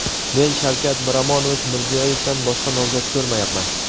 men Shavkat Miromonovich Mirziyoyevdan boshqa nomzod ko‘rmayapman.